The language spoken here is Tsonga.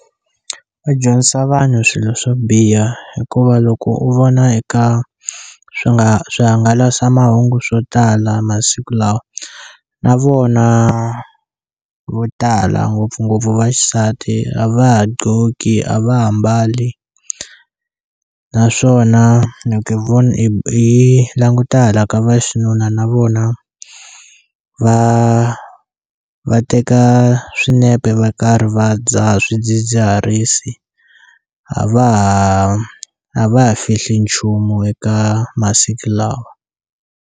Va dyondzisa vanhu swilo swo biha hikuva loko u vona eka swi nga swihangalasamahungu swo tala masiku lawa na vona vo tala ngopfungopfu va xisati a va ha dlhoki a va ha mbali naswona loko hi vone hi languta hala ka vaxinuna na vona va va teka swinepe va karhi va dzaha swidzidziharisi a va ha a va ha fihli nchumu eka masiku lawa.